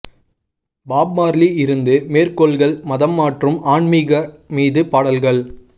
pop Marley இருந்து மேற்கோள்கள் மதம் மற்றும் ஆன்மீக மீது பாடல்கள்